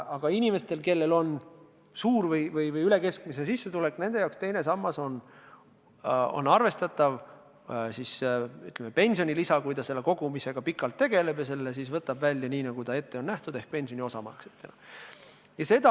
Aga inimeste puhul, kellel on suur või vähemalt üle keskmise sissetulek, on teine sammas arvestatav pensionilisa, kui nad selle raha kogumisega pikalt tegelevad ja kunagi välja võtavad nii, nagu on ette nähtud, ehk siis pensioni osamaksetena.